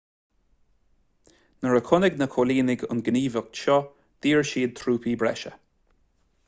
nuair a chonaic na coilínigh an ghníomhaíocht seo d'iarr siad trúpaí breise